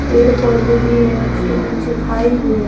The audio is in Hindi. पेड़-पौधे भी है। उसके नीचे खाई भी है।